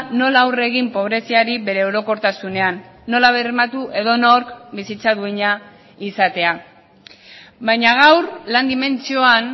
nola aurre egin pobreziari bere orokortasunean nola bermatu edonork bizitza duina izatea baina gaur lan dimentsioan